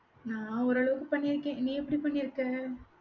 நான் ஒரு அளவுக்கு பண்ணியிருக்கேன். நீ எப்படி பண்ணியிருக்க?